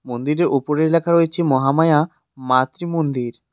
মন্দিরের ওপরে লেখা রয়েছে মহামায়া মাতৃমন্দির।